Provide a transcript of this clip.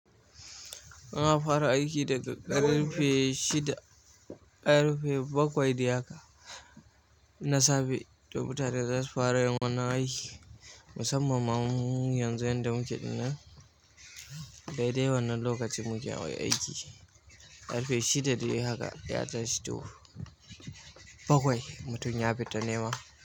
Ina fara aiki daga ƙarfe shida ƙarfe bakwai da haka na safe. To mutane za su fara yawan wannan aiki. Musamman ma mu yanzu yanda muke ɗin nan daidai wannan lokacin muke hawa aiki. Ƙarfe shida dai haka sai a tashi to bakwai mutum ya fita nema.